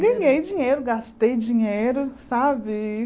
Ganhei dinheiro, gastei dinheiro, sabe?